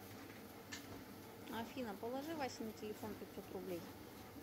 афина положи васе на телефон пятьсот рублей